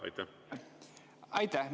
Aitäh!